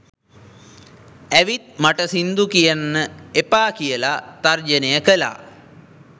ඇවිත් මට සිංදු කියන්න එපා කියලා තර්ජනය කළා